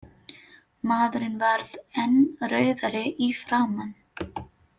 Maðurinn varð enn rauðari í framan.